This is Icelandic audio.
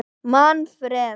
Manfreð